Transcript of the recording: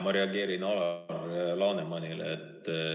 Ma reageerin Alar Lanemani kõnele.